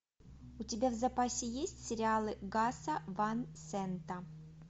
у тебя в запасе есть сериалы гаса ван сента